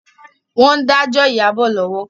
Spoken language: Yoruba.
Wọn dà jọ Iyabo lọ́wọ́